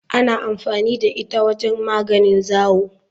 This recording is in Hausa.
Ana amfani da ita wajen magance zawo.